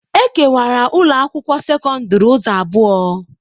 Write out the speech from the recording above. E kewara ụlọ akwụkwọ sekọndrị ụzọ abụọ.